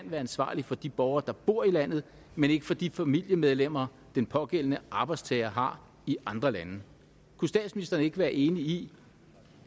være ansvarligt for de borgere der bor i landet men ikke for de familiemedlemmer den pågældende arbejdstager har i andre lande kunne statsministeren ikke være enig i